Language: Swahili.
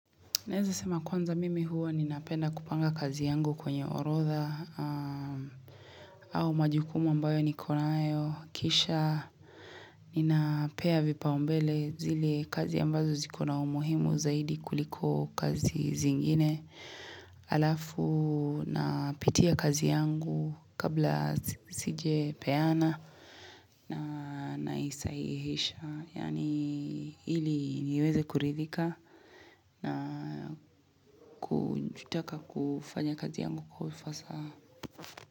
Naweza sema kwanza mimi hua ninapenda kupanga kazi yangu kwenye orodha au majukumu ambayo nikona nayo Kisha ninapea vipa ombele zile kazi ambazo zikona umuhimu zaidi kuliko kazi zingine Alafu napitia kazi yangu kabla sijepeana na naisahihisha Yaani ili niweze kuridhika na kutaka kufanya kazi yangu kwa ufasaha.